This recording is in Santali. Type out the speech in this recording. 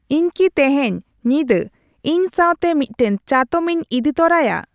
ᱤᱧ ᱠᱤ ᱛᱮᱹᱦᱮᱹᱧ ᱧᱤᱫᱟᱹ ᱤᱧ ᱥᱟᱶᱛᱮ ᱢᱤᱫᱴᱟᱝ ᱪᱟᱛᱚᱢᱤᱧ ᱤᱫᱤ ᱛᱚᱨᱟᱭᱟ